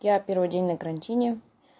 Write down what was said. я первый день на карантине